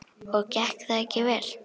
Og gekk það ekki vel.